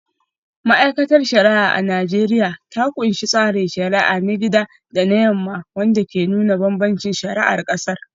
Ma’aikatar shari’a a Najeriya ta kunshi tsarin shari’a na gida da na yamma, wanda ke nuna bambancin shari’ar kasar.